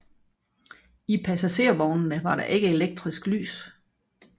I passagervognene var der ikke elektrisk lys